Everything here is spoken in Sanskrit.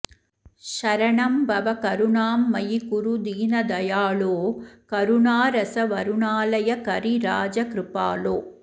शरणं भव करुणां मयि कुरु दीनदयालो करुणारसवरुणालय करिराजकृपालो